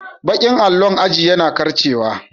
Baƙin allon aji yana karcewa.